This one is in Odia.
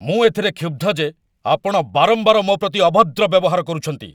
ମୁଁ ଏଥିରେ କ୍ଷୁବ୍ଧ ଯେ ଆପଣ ବାରମ୍ବାର ମୋ ପ୍ରତି ଅଭଦ୍ର ବ୍ୟବହାର କରୁଛନ୍ତି।